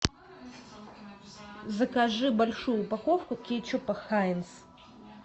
закажи большую упаковку кетчупа хайнц